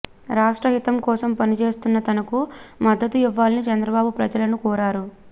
రాష్ట్ర హితం కోసం పనిచేస్తున్న తనకు మద్దతు ఇవ్వాలని చంద్రబాబు ప్రజలను కోరారు